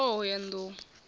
ṋne t hoho ya nḓou